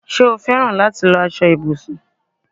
Ṣé o féràn láti lọ aṣọ ibùsùn?